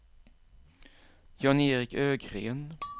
Jan-Erik Ögren